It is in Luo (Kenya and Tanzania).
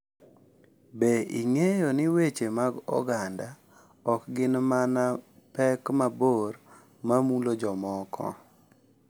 Be ing’eyo ni weche mag oganda ok gin mana pek mabor ma mulo jomoko?